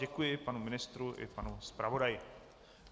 Děkuji panu ministru i panu zpravodaji.